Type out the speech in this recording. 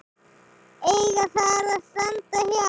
eiga þar að standa hjá.